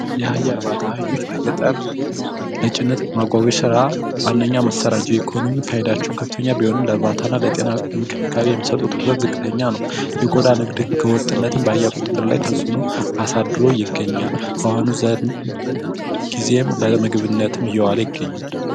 የአህያ እርባታ አህዮች በገጠር ለጭነት ማጓጓዝ ስራ ንነደኛ መሳሪያ ናቸው። ለኢኮኖሚ ፋይዳቸው ከፍተኛ ቢሆንም ለጤና እንክብካቤ የሚሰጡት ትኩረት ዝቅጠኛ ነው። የቆዳ ንግድ ህገወጥነትን በአህያ ቁጥጥር ተፅዕኖ አሳድሮ ይገኛል። በአሁኑ ዘመን ጊዜም ለምግብነትም እየዋለ ይገኛል።